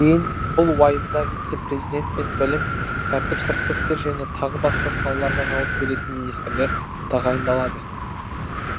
кейін бұл уайымда вице президент пен білім тәртіп сыртқы істер және тағы басқа салаларға жауап беретін министрлер тағайындалады